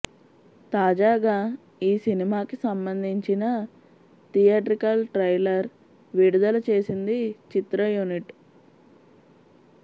తాజాగా ఈ సినిమాకి సంబందించిన థియేట్రికల్ ట్రైలర్ విడుదల చేసింది చిత్ర యూనిట్